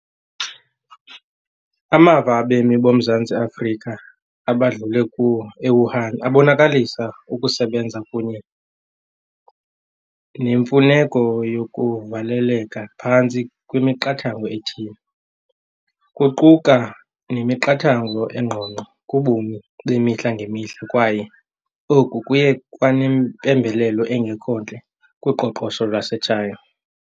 Amava abemi boMzantsi Afrika abadlule kuwo e-Wuhan abonakalisa ukusebenza kunye nemfuneko yokuvaleleka phantsi kwemiqathango ethile. Kuquka nemiqathango engqongqo kubomi bemihla ngemihla kwaye oku kuye kwanempembelelo engekho ntle kuqoqosho lwase-China.